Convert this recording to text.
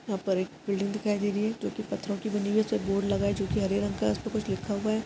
यह पर एक बिल्डिंग दिखाई दे रही है जोकि पत्थरों की बनी हुई है एक बोर्ड लगाअ हुआ है जो हरे रंग का है उसमे कुछ लिखा हुआ है।